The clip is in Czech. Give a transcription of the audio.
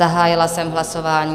Zahájila jsem hlasování.